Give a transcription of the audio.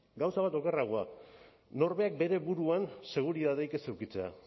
gauza bat okerragoa norberak bere buruan seguritateak ez edukitzea